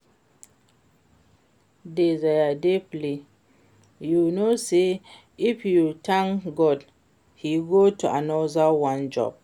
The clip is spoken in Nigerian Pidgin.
Dey there dey play. You no know say if you thank God he go do another one join